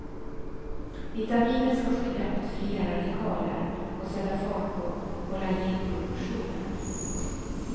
Vitaminet ska skydda mot fria radikaler och sätta fart på kollagenproduktionen.